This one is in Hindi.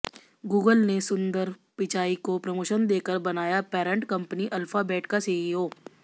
गूगल ने सुंदर पिचाई को प्रमोशन देकर बनाया पैरंट कंपनी अल्फाबेट का सीईओ